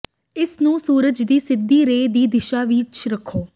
ਇਸ ਨੂੰ ਸੂਰਜ ਦੀ ਸਿੱਧੀ ਰੇ ਦੀ ਦਿਸ਼ਾ ਵਿੱਚ ਰੱਖੋ